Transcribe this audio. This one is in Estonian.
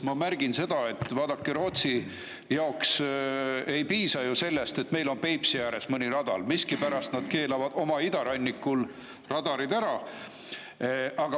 Ma märgin seda, et vaadake, Rootsi jaoks ei piisa ju sellest, et meil on Peipsi ääres mõni radar, aga miskipärast nad keelavad oma idarannikul radarid ära.